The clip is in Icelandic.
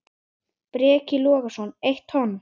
Breki Logason: Eitt tonn?